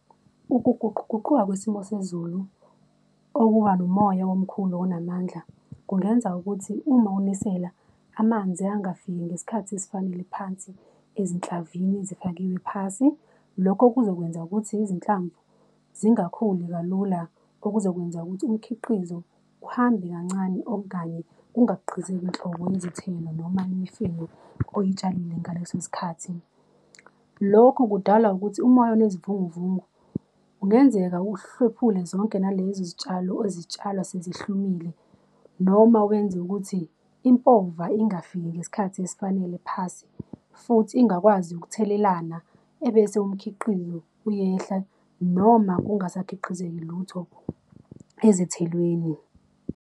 Ukuguquguquka kwisimo sezulu okuba nomoya omkhulu, onamandla, kungenza ukuthi uma unisela amanzi angafiki ngesikhathi esifanele phansi ezinhlavini ezifakiwe phasi. Lokho kuzokwenza ukuthi izinhlamvu zingakhuli kalula, okuzokwenza ukuthi umkhiqizo uhambe kancane okanye kungakhiqizeli nhlobo izithelo noma imifino oyitshalile, ngaleso sikhathi. Lokho kudala ukuthi umoya onezivunguvungu, kungenzeka uhlwephule zonke nalezo zitshalo ezitshalwa sezihlumile, noma wenze ukuthi impova ingafiki ngesikhathi esifanele phasi, futhi ingakwazi ukuthelelana, ebese umkhiqizo uyehla noma kungasakhiqizeki lutho ezithelweni.